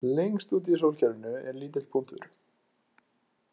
Lengst úti í sólkerfinu er lítill punktur